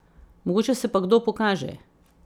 Mogoče se pa kdo pokaže.